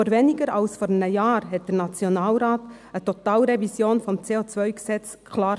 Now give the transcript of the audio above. Vor weniger als einem Jahr versenkte der Nationalrat eine Totalrevision des CO-Gesetzes klar.